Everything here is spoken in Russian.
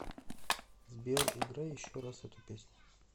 сбер играй еще раз эту песню